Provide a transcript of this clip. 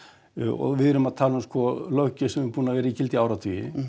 og við erum að tala um sko löggjöf sem hefur verið í gildi í áratugi